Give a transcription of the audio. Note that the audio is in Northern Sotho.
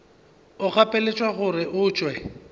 o gapeletšwa gore o tšwe